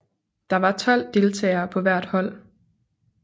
Der var 12 deltagere på hvert hold